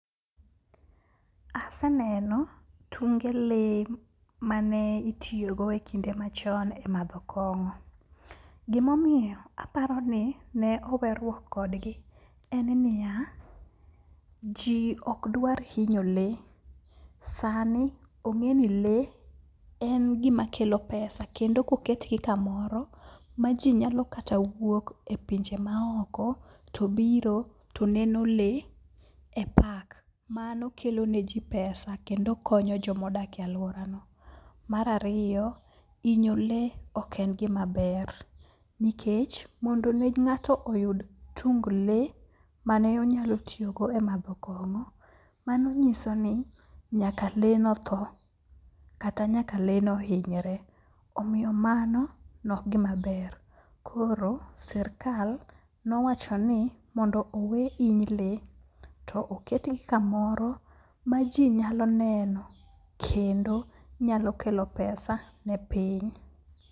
Aseneno tunge lee mane itiyogo e kinde machon e madho kong'o. Gimomiyo aparo ni ne oweruok kodgi en niya, ji okdwar hinyo lee. Sani ong'e ni lee en gimakelo pesa kendo koketgi kamoro maji nyalo kata wuok e pinje maoko to biro toneno lee e park, mano kelone ji pesa kendo konyo jomodak e alworano. Mar ariyo, hinyo lee ok en gimaber nikech mondo ne ng'ato oyud tung lee mane onyalo tiyogo e madho kong'o, mano nyiso ni nyaka lee no thoo kata nyaka lee no hinyre. Omiyo mano nokgimaber koro sirkal nowachoni mondo owe hiny lee to oketgi kamoro ma ji nyalo neno kendo nyalo kelo pesa ne piny.